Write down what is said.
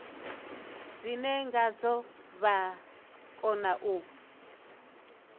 dzine ngadzo vha kona u